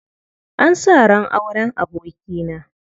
An sa ran auren abokina.